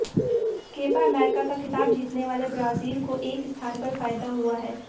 Kepa America का खिताब जीतने वाले ब्राजील को एक स्थान पर फायदा हुआ है